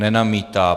Nenamítá.